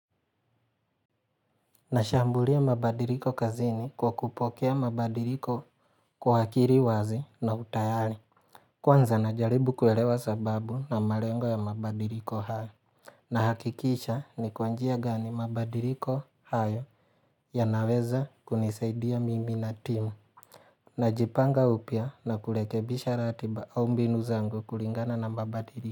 Nashambulia mabadiliko kazini kwa kupokea mabadiliko kwa akili wazi na utayali. Kwanza najaribu kuelewa sababu na malengo ya mabadiliko haya. Nahakikisha ni kwa njia gani mabadiliko hayo yanaweza kunisaidia mimi na timu. Najipanga upya na kurekebisha ratiba au mbinu zangu kulingana na mabadili.